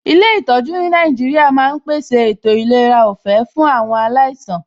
Ilé ìtọjú ní Nàìjíríà ma ń pèsè ètò ìlera ọ̀fẹ́ fún awon alaisan